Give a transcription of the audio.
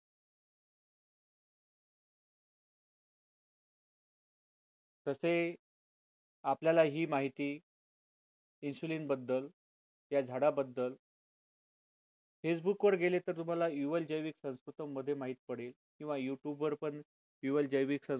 तर ते आपल्याला ही माहिती insulin बद्दल त्या झाडा बद्दल. facebook वर गेले तर तुम्हाला